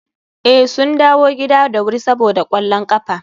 eh, sun dawo gida da wuri saboda kwallon kafa